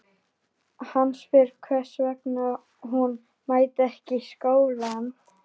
Hann spyr hvers vegna hún mæti ekki í skólanum.